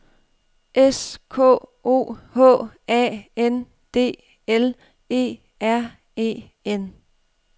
S K O H A N D L E R E N